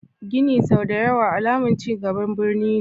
Gini sau da ya wa alamar cingaban birni ne.